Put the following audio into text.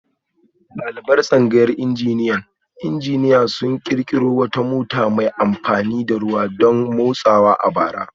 Daliban tsangayar injiniyan injiniya sun kirkiro wata mota mai amfani da ruwa don motsawa a bara